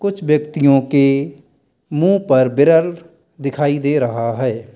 कुछ व्यक्तियों के मुंह पर बिरर दिखाई दे रहा है।